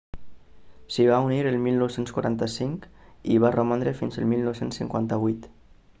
s'hi va unir el 1945 i hi va romandre fins al 1958